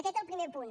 aquest el primer punt